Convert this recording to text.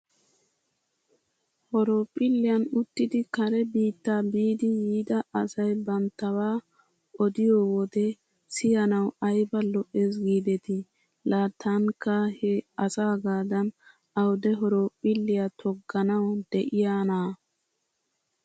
Horophiliyan uttidi kare biitta biidi yiida asay banttabaa odiyoo wode siyanaw ayba lo'es giidetii. La tankka he asaagaadan awude horophphiliyaa togganaw de'iyaanaa?